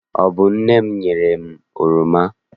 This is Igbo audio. Ọ bụ nne m nyere m oroma.